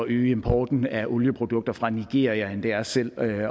øge importen af olieprodukter fra nigeria end det er selv at